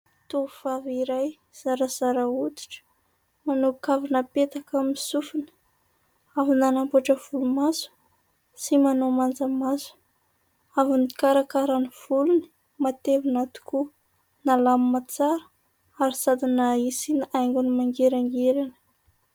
Tovovavy iray zarazara hoditra manao kavina apetaka amin'ny sofina. Avy nanamboatra volomaso sy manao manja maso. Avy nikarakara ny volony matevina tokoa, nalamina tsara ary sady nasiana aingony mangirangirana.